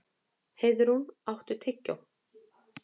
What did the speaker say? Heiðrún, áttu tyggjó?